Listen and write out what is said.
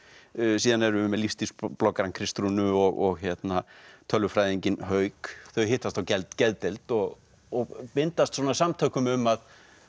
síðan erum við með Kristrúnu og Hauk þau hittast á geðdeild og og bindast samtökum um að